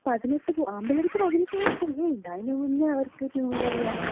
അവർക്ക് 18, ആമ്പിള്ളേക്ക് 18 പോലും തികയണ്ട. അതിന് മുന്നേ അവർക്ക് ടൂവീലറ് വേണം.